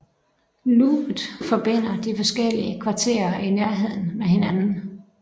Loopet forbinder de forskellige kvarterer i Nærheden med hinanden